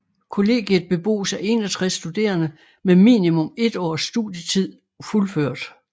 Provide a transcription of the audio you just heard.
Kollegiet bebos af 61 studerende med minimum 1 års studietid fuldført